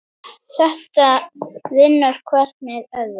Þetta vinnur hvert með öðru.